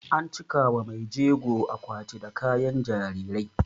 An cika wa maijego akwati da kayan jarirai